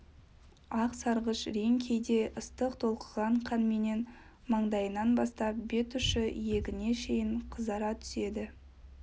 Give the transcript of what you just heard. ақ сарғыш рең кейде ыстық толқыған қанменен маңдайынан бастап бет ұшы иегіне шейін қызара түседі